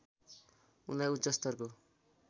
उनलाई उच्चस्तरको